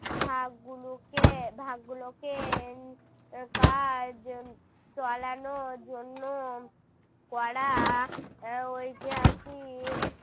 ভাগ গুলোকে ভাগ গুলোকে কাজ চালানোর জন্য গড়া ঐতিহাসিক